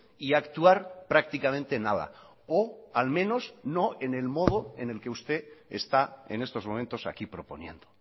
y actuar prácticamente nada o al menos no en el modo en el que usted está en estos momentos aquí proponiendo